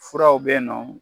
Furaw bɛ yen nɔ.